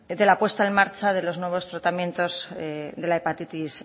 de la puesta en marcha de los nuevos tratamientos de la hepatitis